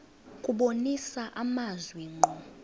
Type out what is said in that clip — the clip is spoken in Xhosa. kubonisa amazwi ngqo